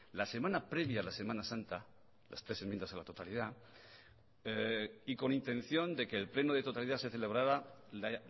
la semana previa a la semana santa las tres enmiendas a la totalidad y con intención de que el pleno de totalidad se celebrara la